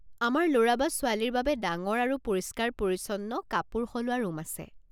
আমাৰ ল'ৰা বা ছোৱালীৰ বাবে ডাঙৰ আৰু পৰিষ্কাৰ পৰিচ্ছন্ন কাপোৰ সলোৱা ৰূম আছে।